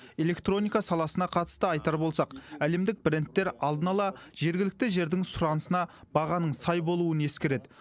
электроника саласына қатысты айтар болсақ әлемдік брендтер алдын ала жергілікті жердің сұранысына бағаның сай болуын ескереді